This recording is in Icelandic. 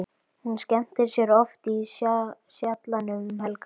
Hún skemmtir sér oft í Sjallanum um helgar.